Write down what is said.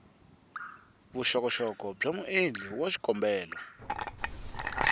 vuxokoxoko bya muendli wa xikombelo